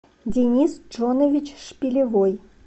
денис джонович шпилевой